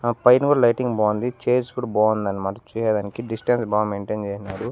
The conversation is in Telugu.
ఆ పైన కూడా లైటింగ్ బాగుంది చైర్స్ కూడా బాగుంది అన్నమాట చూసేదానికి డిస్టెన్స్ బాగా మెయింటైన్ చేసినాడు.